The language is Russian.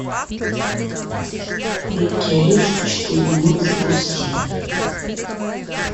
крепкий орешек четыре ноль запусти